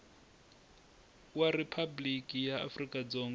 wa riphabliki ra afrika dzonga